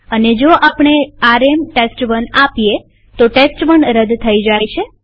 અને જો આપણે આરએમ ટેસ્ટ1 આપીએ તો ટેસ્ટ1 રદ થઇ જાય છે